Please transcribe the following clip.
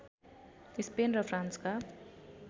Spain र फ्रान्सका